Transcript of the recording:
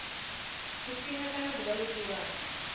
tshifhinga kana ḓuvha ḽo tiwaho